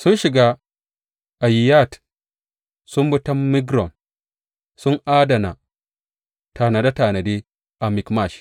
Sun shiga Ayiyat; sun bi ta Migron; sun adana tanade tanade a Mikmash.